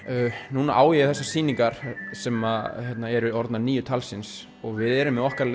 núna á ég þessar sýningar sem eru orðnar níu talsins og við erum með okkar